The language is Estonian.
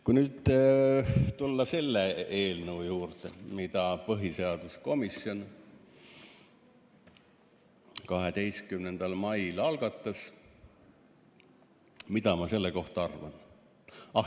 Kui nüüd tulla selle eelnõu juurde, mille põhiseaduskomisjon 12. mail algatas, siis mida ma selle kohta arvan?